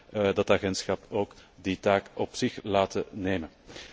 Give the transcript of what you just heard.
Laten we dat agentschap ook die taak op zich laten nemen.